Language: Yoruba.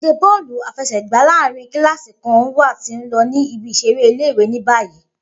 Idije bọ́ọ̀lú àfẹsẹ̀gbá laaèrin kilasi kan wa ti n lọ ni ibi-iṣere ile-iwe ni bayi.